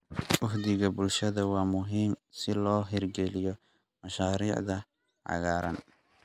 Uhdhigga bulshada waa muhiim si loo hirgeliyo mashaariicda cagaaran.